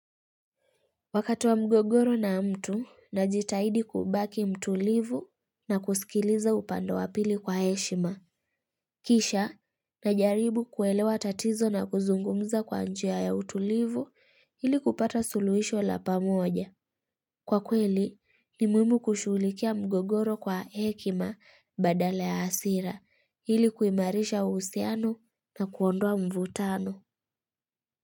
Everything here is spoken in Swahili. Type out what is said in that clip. Wakati wa mgogoro na mtu, najitahidi kubaki mtulivu na kusikiliza upande wapili kwa heshima. Kisha, najaribu kuelewa tatizo na kuzungumza kwa njia ya utulivu ili kupata suluhisho la pamoja. Kwa kweli, ni muhimu kushulikia mgogoro kwa hekima badala ya hasira ili kuimarisha usiano na kuondwa mvutano.